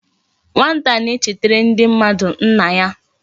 Nwata na e chetara ndi mmadu nna ya